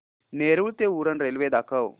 नेरूळ ते उरण रेल्वे दाखव